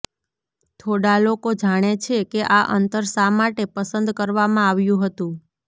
થોડા લોકો જાણે છે કે આ અંતર શા માટે પસંદ કરવામાં આવ્યું હતું